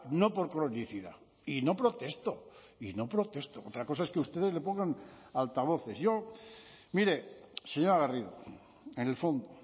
no por cronicidad y no protesto y no protesto otra cosa es que ustedes le pongan altavoces yo mire señora garrido en el fondo